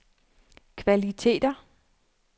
kvaliteter